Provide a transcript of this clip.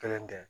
Kelen tɛ